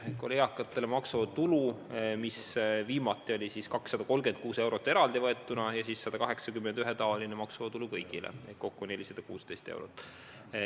Viimati oli eakatel maksuvaba tulu 236 eurot eraldi võetuna pluss 180 eurot üldine maksuvaba tulu kõigile, kokku siis 416 eurot.